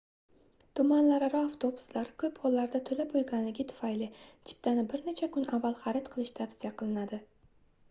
tumanlararo avtobuslar koʻp hollarda toʻla boʻlganligi tufayli chiptani bir necha kun avval xarid qilish tavsiya qilinadi